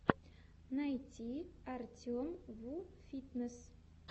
найти артемвуфитнесс